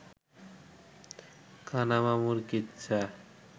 কানা মামুর কিচ্ছা